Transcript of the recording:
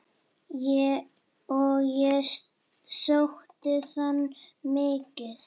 Og ég sótti þangað mikið.